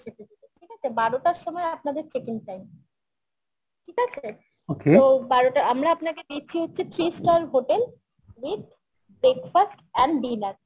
ঠিক আছে বারোটার সময় আপনাদের checking time ঠিক আছে তো বারোটা আমরা আপনাকে দিচ্ছি হচ্ছে three star hotel with breakfast and dinner